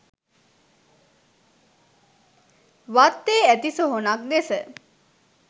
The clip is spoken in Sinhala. වත්තේ ඇති සොහොනක් දෙස